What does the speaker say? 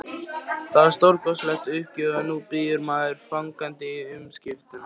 Það var stórkostlegt uppgjör og nú bíður maður fagnandi umskiptanna.